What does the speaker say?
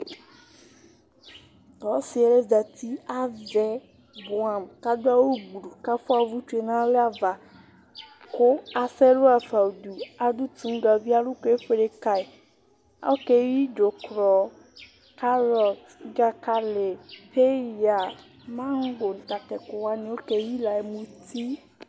Ɔsiɛ zɛti avɛ bʋɛ amu kʋ aɖu awu gblu kʋ afʋa uvʋtsu yaɖu nalɛ ava kʋ asɛ ɛlu hafa ŋuɖu Aɖu toŋu gavi Aluku efʋele kaɣi Ɔkeyi dzukrɔ, karɔt, dzakali, peya, mango, ŋu tatu ɛku waŋi, ɔkeyi la, muti